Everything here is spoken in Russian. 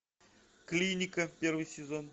клиника первый сезон